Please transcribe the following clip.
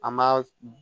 An ma